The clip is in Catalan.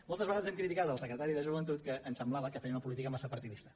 moltes vegades hem criticat el secretari de joventut que ens semblava que feia una política massa partidista